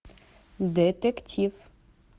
детектив